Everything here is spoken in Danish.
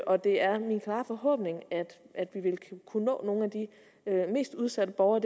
og det er min klare forhåbning at vi vil kunne nå nogle af de mest udsatte borgere